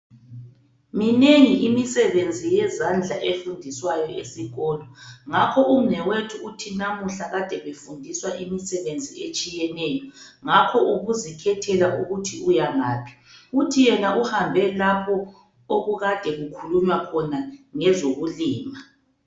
Minengi imisebenzi yezandla efundiswayo esikolo ngakho umnewethu uthi namuhla kade befundiswa imisebenzi etshiyeneyo ngakho ubuzikhethela ukuthi uyangaphi. Uthi yena uhambe lapho okukade kukhulunywa khona ngezokulima.